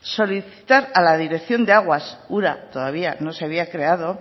solicitar a la dirección de aguas urak todavía no se había creado